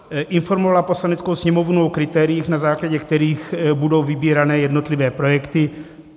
Informovala Poslaneckou sněmovnu o kritériích, na základě kterých budou vybírány jednotlivé projekty.